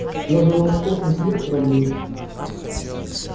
разве у вас в космосе нет кораблей